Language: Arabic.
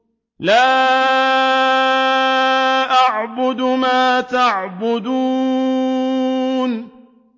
لَا أَعْبُدُ مَا تَعْبُدُونَ